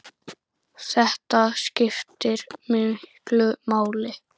Þetta skiptir miklu máli.